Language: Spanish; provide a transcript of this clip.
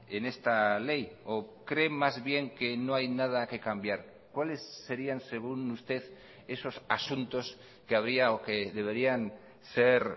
en esta ley o creen más bien que no hay nada que cambiar cuáles serían según usted esos asuntos que habría o que deberían ser